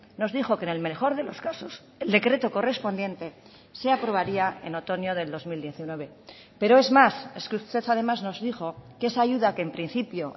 nos dijo que en el mejor de los casos el decreto correspondiente se aprobaría en otoño del dos mil diecinueve pero es más es que usted además nos dijo que esa ayuda que en principio